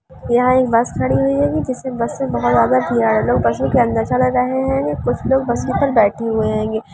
यहां एक बस खड़ी हुई हेेंगी जिसे बस से बाहर लोग बसों के अंदर चढ़ रहे है कुछ लोग बस पे बैठे हुए हेंगे।